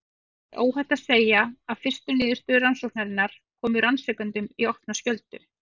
Það er óhætt að segja að fyrstu niðurstöður rannsóknarinnar komu rannsakendum í opna skjöldu.